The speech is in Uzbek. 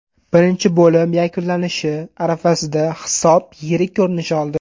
Birinchi bo‘lim yakunlanishi arafasida hisob yirik ko‘rinish oldi.